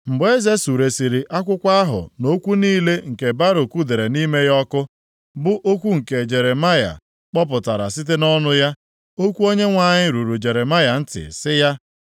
Mgbe eze suresịrị akwụkwọ ahụ na okwu niile nke Baruk dere nʼime ya ọkụ, bụ okwu nke Jeremaya kpọpụtara site nʼọnụ ya, okwu Onyenwe anyị ruru Jeremaya ntị sị ya: